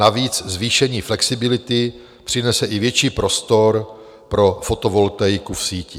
Navíc zvýšení flexibility přinese i větší prostor pro fotovoltaiku v síti.